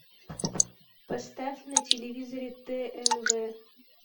поставь на телевизоре тнв